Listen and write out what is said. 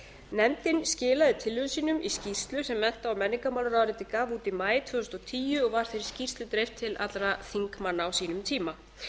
nefndin skilaði tillögum sínum í skýrslu sem mennta og menningarmálaráðuneytið gaf út í maí tvö þúsund og tíu og var þessari skýrslu dreift til allra þingmanna á sínum tíma